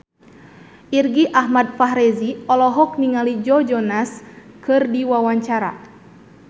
Irgi Ahmad Fahrezi olohok ningali Joe Jonas keur diwawancara